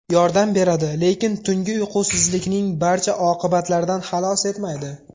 Yordam beradi, lekin tungi uyqusizlikning barcha oqibatlaridan xalos etmaydi .